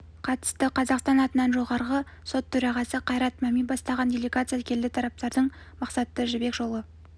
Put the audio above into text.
қатысты қазақстан атынан жоғарғы сот төрағасы қайрат мәми бастаған делегация келді тараптардың мақсаты жібек жолы